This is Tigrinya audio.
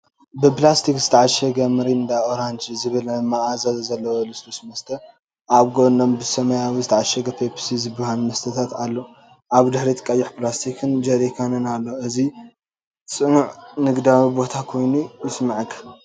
ብፕላስቲክ ዝተዓሸገ "MIRINDA ORANGE" ዝብል መኣዛ ዘለዎ ልስሉስ መስተ። ኣብ ጎኖም ብሰማያዊ ዝተዓሸገ "ፔፕሲ" ዝበሃል መስተታት ኣሎ። ኣብ ድሕሪት ቀይሕ ፕላስቲክ ጀሪካን ኣሎ። እዚ ጽዑቕን ንግዳዊን ቦታን ኮይኑ ይስምዓካ።